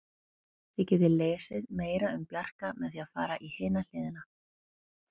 Þið getið lesið meira um Bjarka með því að fara í hina hliðina.